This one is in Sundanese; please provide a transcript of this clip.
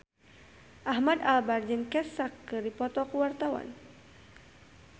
Ahmad Albar jeung Kesha keur dipoto ku wartawan